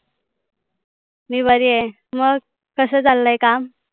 मी बरी आहे. मग, कसं चालय काम?